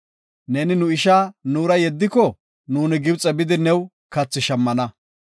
Neeni nu isha nuura yeddiko, nuuni Gibxe bidi new kathi shammana.